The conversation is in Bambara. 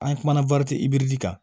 An kumana kan